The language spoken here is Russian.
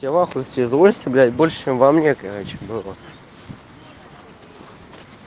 тебе в ахуе тебе злости блять больше чем во мне короче было